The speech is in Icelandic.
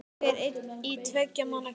Ég er einn í tveggja manna klefa.